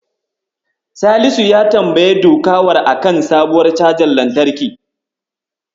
Salisu ya tambayi Dukawa a kan sabuwar cajar lantarki.